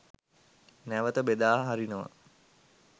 නැවත බෙදා හරිනවා.